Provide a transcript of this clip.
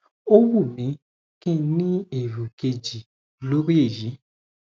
ó wù mí kí n ní èrò kejì lórí èyí